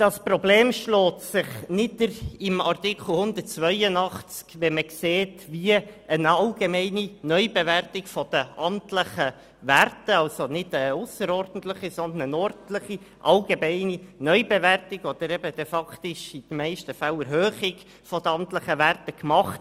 Das Problem schlägt sich in Artikel 182 nieder, wenn man sieht, wie eine ordentliche allgemeine Neubewertung der amtlichen Werte faktisch in den meisten Fällen zu deren Erhöhung führt.